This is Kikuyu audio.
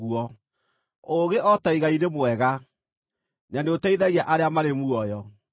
Ũũgĩ, o ta igai, nĩ mwega na nĩũteithagia arĩa marĩ muoyo.